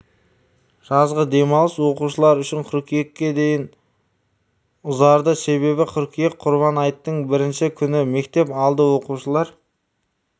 жазғы демалыс оқушылар үшін қыркүйекке дейін ұзарды себебі қыркүйек құрбан айттың бірінші күні мектеп алды оқушылар